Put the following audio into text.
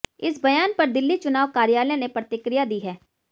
इस बयान पर दिल्ली चुनाव कार्यालय ने प्रतिक्रिया दी है